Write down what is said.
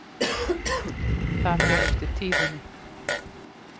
Það fer eftir tíðinni.